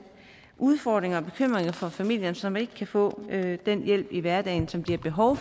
udfordringer og bekymringer for familierne som ikke kan få den hjælp i hverdagen som de har behov